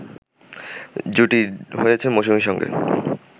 জুটি হয়েছেন মৌসুমীর সঙ্গে